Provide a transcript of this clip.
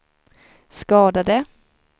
skadade